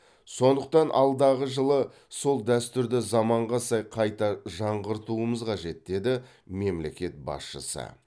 сондықтан алдағы жылы сол дәстүрді заманға сай қайта жаңғыртуымыз қажет деді мемлекет басшысы